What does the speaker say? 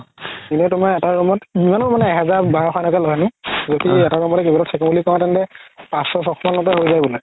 এনে তুমাৰ এটা room ত ইমানো মানে এহাজাৰ বাৰশ এনেকে লই আৰু যদি এটা room তে থাকো বুলি কৌ তেন্তে পাচশ চয়শ মানতে হয় যাই বুলে